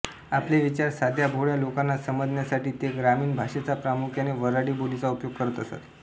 आपले विचार साध्या भोळ्या लोकांना समजण्यासाठी ते ग्रामीण भाषेचा प्रामुख्याने वऱ्हाडी बोलीचा उपयोग करत असत